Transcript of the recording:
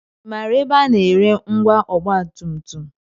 I maara ebe a na-ere ngwa ọgbatumtum?